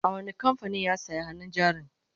a wani kamfanin ya saya hannun jarin?